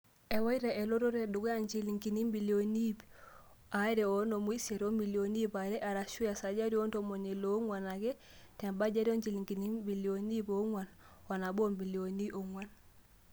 ewa elototo e dukuya njilingini ibilioni iip are o onom osiet o milioni iip are, arashu esajati o ntomoni ile onguan ake te bajet o njilingini ibilioni iip onguan o nabo o milioni iip onguan.